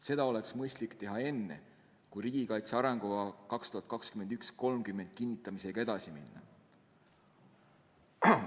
Seda oleks mõistlik teha enne, kui riigikaitse arengukava 2021–2030 kinnitamisega edasi minna.